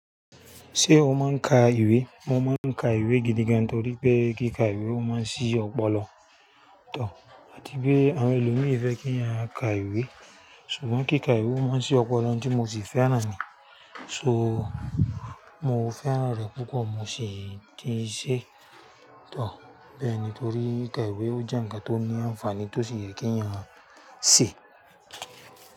Ṣé o máa ń ka ìwé? Mo máa ń ka ìwé gidi gan torí pé kí ka ìwé ó máa ń ṣí ọpọlọ àti bí àwọn ẹlòmíràn fẹ́ kí a ka ìwé. Ṣùgbọ́n kí ka ìwé ó máa ń ṣí ọpọlọ tí mo sì fẹ́ràn ni. So, mo fẹ́ràn rẹ̀ púpọ̀ mo sì ti n ṣé bẹ́ẹ̀ ni torí ká ìwé ó jẹ́ ǹkan tó ní ànfàní tó sì yẹ kí a ṣe.